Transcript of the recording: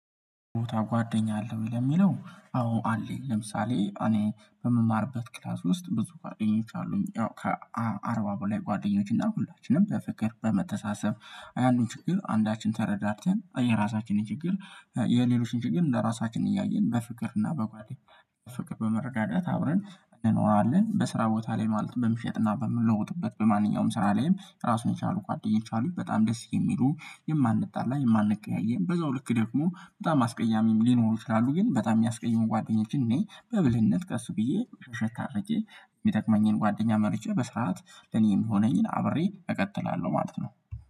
ቦታ ጓደኛ አለው። የሚለው አዎ አለኝ ለምሳሌ እኔ በምማርበት ክላስ ውስጥ ብዙ ጓደኞች አሉኝ ከአርባ በላይ ጓደኞች እና ሁላችንም በፍቅር በመተሳሰብ አያንዱን ችግር አንዳችን ተረዳተን የራሳችንን ችግር የሌሎችን ችግር እንደራሳችን እያየን በፍቅር እና በጓደኝ ፍቅር በመረዳዳት አብረን እንኖራለን። በስራ ቦታ ላይ ማለት በምሸጥና በምለውጥበት በማንኛውም ስራ ላይም ራሱን የቻሉ ጓደኞች አሉኝ በጣም ደስ የሚሉ የማንጣላ የማንቀያየም በዛው ልክ ደግሞ በጣም አስቀያሚም ሊኖሩ ይችላሉ። ግን በጣም የሚያስቀይሙኝ ጓደኞችን እኔ በብልህነት ቀስ ብዬ ሸታ አረጄ የሚጠቅመኝን ጓደኛ መርጬ በስርዓት ለኔም የሚሆነኝን አብሬ እቀጥላለሁ ማለት ነው